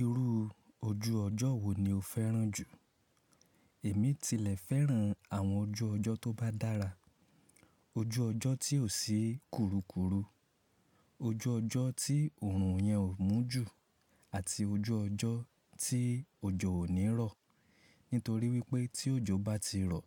Irú ojú ọjọ́ wo ni o fẹ́ràn jù? Èmi tilẹ̀ fẹ́ràn àwọn ojú ọjọ́ tó bá dára, ojú ọjọ́ tí ò sí kurukuru, ojú ọjọ́ tí òòrùn yẹn ò mú jù àti ojú ọjọ́ tí òjò ò ní rọ̀. Nítorí wípé tí òjò bá ti rọ̀,